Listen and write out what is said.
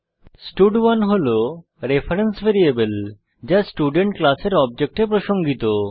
স্টাড1 হল reference variable যা student ক্লাসের অবজেক্টে প্রসঙ্গিত